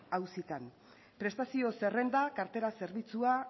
auzitan prestazio zerrenda kartera zerbitzua